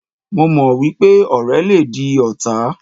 Mo mọ̀ wípé ọ̀rẹ́ le di ọ̀tá.